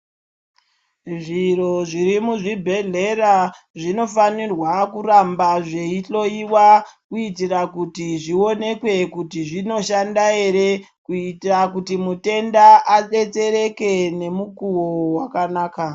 Zviro zviri muzvibhedhlera zvinofanirwa kuramba zveihloyiwa kuitira kuti zvionekwe kuti zvinoshanda ere kuitira kuti mutenda adetsereke nemukuwo wakanaka.